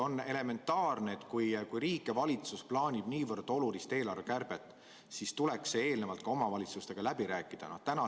On elementaarne, et kui riik ja valitsus plaanivad niivõrd olulist eelarvekärbet, siis tuleb see eelnevalt ka omavalitsustega läbi rääkida.